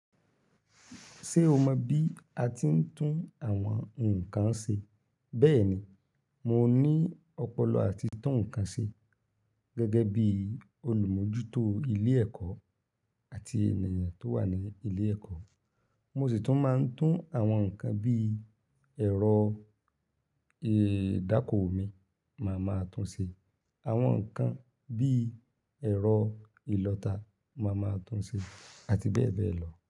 Ṣé o mọ bí a ti ń tún àwọn ǹkan ṣe? Bẹ́ẹ̀ni, mo ní ọpọlọ àti tun ǹkan ṣe gẹ́gẹ́ bí olùmójútó ilé ẹkọ àti ènìyàn tó wà ní ilé ẹkọ. Mo sì tún máa ń tún àwọn ǹkan bí ẹ̀rọ ìdákoo mi, màá máa tún ṣe. Àwọn nǹkan bí ẹ̀rọ ìlọta, màá máa tún ṣe àti bẹ́ẹ̀ bẹ́ẹ̀ lọ.